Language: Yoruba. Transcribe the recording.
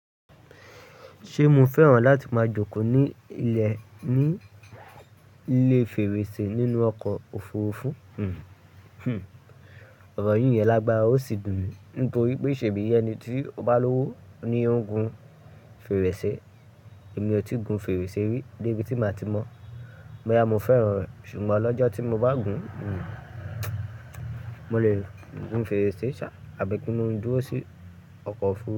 Ṣe mo fẹ́ràn láti máa jókòó ní ilẹ̀ nílé fèrèsé nínú ọkọ̀ òfurufú? Hmm, ọ̀rọ̀ yìí yẹn lágbára ó sì dùn mí. Nítorí pé ṣee bí ẹni tí ó bá lówó ni ó ń gun fèrèsé. Èmi òtí gun fèrèsé rí débi tí màá ti mọ̀. Boya mo fẹ́ràn rẹ̀. Ṣùgbọ́n lọ́jọ́ tí mo bá gun, hmmm, mo lè gun fèrèsé ṣá, àbí kín lo dúró sí ọkọ̀ òfurufú?